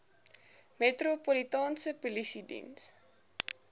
metropolitaanse polisie diens